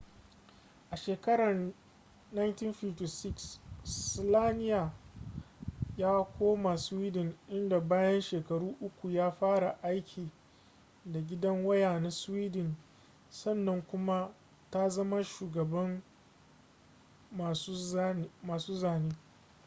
a shekarar 1956 slania ya koma sweden inda bayan shekaru uku ya fara aiki da gidan waya na sweden sannan kuma ta zama shugaban masu zane